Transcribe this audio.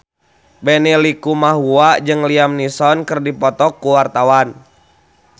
Benny Likumahua jeung Liam Neeson keur dipoto ku wartawan